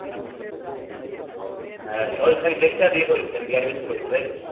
হ্যাঁ ওই খালি দেখছে আর ইয়ে করে দিচ্ছে মানে admission করে দিচ্ছে তাই তো